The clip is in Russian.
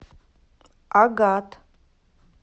агат